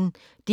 DR P1